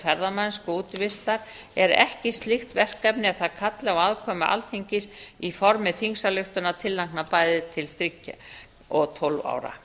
ferðamennsku og útivistar er ekki slíkt verkefni að það kalli á aðkomu alþingis í formi þingsályktunartillagna bæði til þriggja og tólf ára